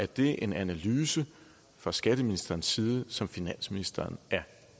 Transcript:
det en analyse fra skatteministerens side som finansministeren er